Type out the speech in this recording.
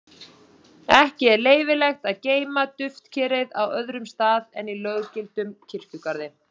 Ekki er leyfilegt að geyma duftkerið á öðrum stað en í löggiltum kirkjugarði.